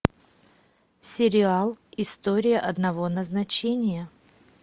сериал история одного назначения